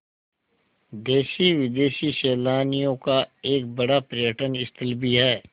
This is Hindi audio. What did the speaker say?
देशी विदेशी सैलानियों का एक बड़ा पर्यटन स्थल भी है